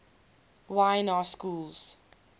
y na schools